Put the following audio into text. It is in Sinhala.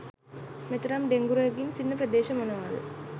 මෙතරම් ඩෙංගු රෝගීන් සිටින ප්‍රදේශ මොනවාද?